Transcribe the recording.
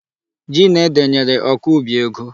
Ji na ede nyere ọkọubi ego.